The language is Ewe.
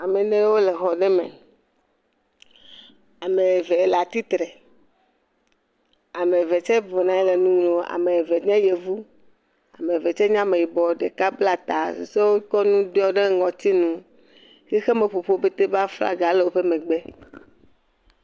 Ame enewo le xɔ me. Ame eve le atsitre. Ame eve tse bɔbɔnɔ anyi le nu ŋlɔm. Ame eve tse nye yevu. Ame eve tse nye ameyibɔ. Ɖeka bla ta. Susɔewo kɔ nu kɔ ɖɔ ɖe ŋɔtinu. Xixemeƒoƒuwo pɛtɛ ƒe aflaga le wo megbe.